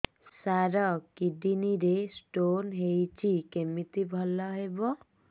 ସାର କିଡ଼ନୀ ରେ ସ୍ଟୋନ୍ ହେଇଛି କମିତି ଭଲ ହେବ